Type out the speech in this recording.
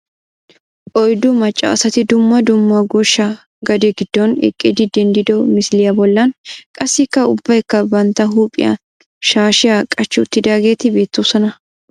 Oyddu macca asati dumma dumma goshsha gade giddon eqqidi denddido misiliya bollan qassikka ubbaykka bantta huuphiyan shaashiya qaci uttidaageti beettoosona.